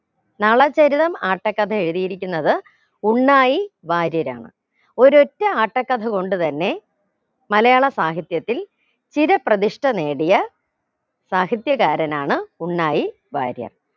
നളചരിതം ആട്ടക്കഥ എഴുതിയിരിക്കുന്നത് ഉണ്ണായി വാര്യരാണ് ഒരൊറ്റ ആട്ടക്കഥ കൊണ്ട് തന്നെ മലയാള സാഹിത്യത്തിൽ ചിര പ്രതിഷ്ഠ നേടിയ സാഹിത്യകാരനാണ് ഉണ്ണായി വാര്യർ